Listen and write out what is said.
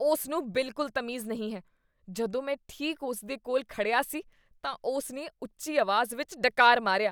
ਉਸ ਨੂੰ ਬਿਲਕੁਲ ਤਮੀਜ਼ ਨਹੀਂ ਹੈ। ਜਦੋਂ ਮੈਂ ਠੀਕ ਉਸ ਦੇ ਕੋਲ ਖੜਿਆ ਸੀ ਤਾਂ ਉਸ ਨੇ ਉੱਚੀ ਅਵਾਜ਼ ਵਿਚ ਡਕਾਰ ਮਾਰਿਆ।